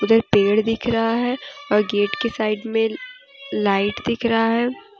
उधर पेड़ दिख रहा है और गेट के साइड में लाइट दिख रहा है।